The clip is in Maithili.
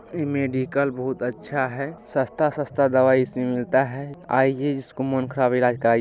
इ मेडिकल बहुत अच्छा है सस्ता-सस्ता दवाई इस में मिलता है आइए जिसको मून खराब है ईलाज ---